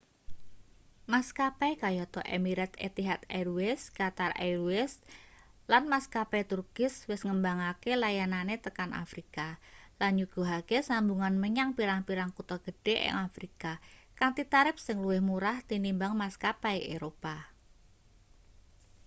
maskapai kayata emirates etihad airways qatar airways & maskapai turkish wis ngembangake layanane tekan afrika lan nyuguhake sambungan menyang pirang-pirang kutha gedhe ing afrika kanthi tarip sing luwih murah tinimbang maskapai eropa